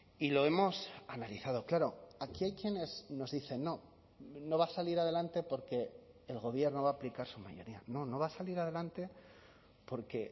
y lo hemos analizado claro aquí hay quienes nos dicen no no va a salir adelante porque el gobierno va a aplicar su mayoría no no va a salir adelante porque